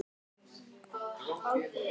Þetta er eins og að vera kominn heim.